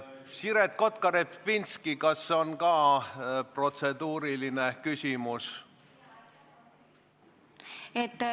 Siret Kotka-Repinski, kas on ka protseduuriline küsimus?